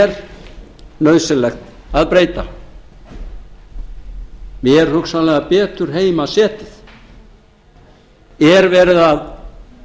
er nauðsynlegt að breyta eða er hugsanlega betur heima setið er verið að